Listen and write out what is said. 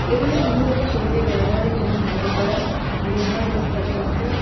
এগুলো সম্ভবত শিল্পে ব্যবহারের জন্য ঢালাই করা লোহার বা ইস্পাতের অংশ।